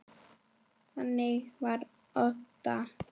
Þannig var Obba.